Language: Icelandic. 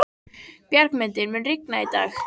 Bjargmundur, mun rigna í dag?